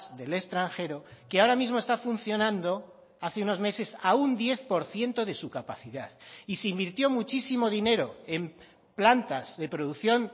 del extranjero que ahora mismo está funcionando hace unos meses a un diez por ciento de su capacidad y se invirtió muchísimo dinero en plantas de producción